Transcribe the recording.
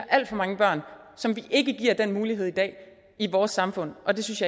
alt for mange børn som vi ikke giver den mulighed i dag i vores samfund og det synes